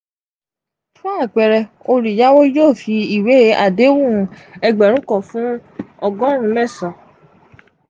fun apẹẹrẹ oluyawo yoo fi iwe adehun egberun kan fun ọgọrun mẹsan.